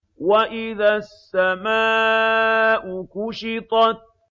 وَإِذَا السَّمَاءُ كُشِطَتْ